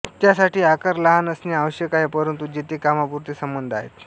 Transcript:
त्यासाठी आकार लहान असणे आवष्यक आहे परंतु जेथे कामापुरते संबंध आहेत